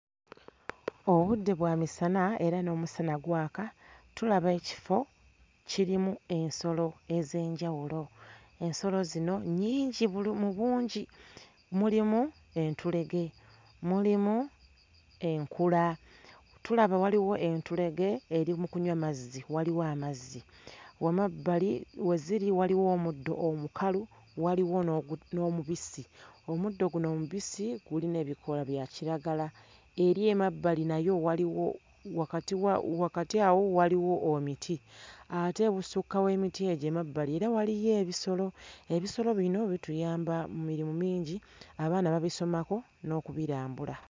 Obudde bwa misana era n'omusana gwaka, tulaba ekifo kirimu ensolo ez'enjawulo, ensolo zino nyingi bulu mu bungi, mulimu entulege, mulimu enkula, tulaba waliwo entulege eri mu kunywa mazzi, waliwo amazzi, mu mabbali weziri waliwo omuddo omukalu waliwo n'ogu n'omubisi, omuddo guno omubisi gulina ebikoola bya kiragala eri emabbali nayo waliwo wakati wa wakati awo waliwo omiti ate ebusukka w'emiti egyo emabbali era waliyo ebisolo, ebisolo bino bituyamba mirimu mingi, abaana babisomako n'okubirambula.